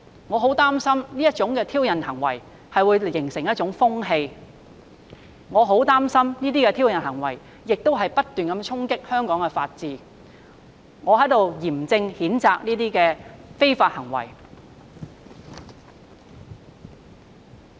我很擔心這種挑釁行為會形成風氣，我很擔心這些挑釁行為會不斷衝擊香港法治，我在這裏嚴正譴責這些非法行為。